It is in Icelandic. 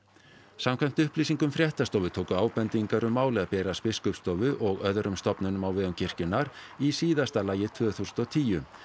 samkvæmt upplýsingum fréttastofu tóku ábendingar um málið að berast Biskupsstofu og öðrum stofnunum á vegum kirkjunnar í síðasta lagi tvö þúsund og tíu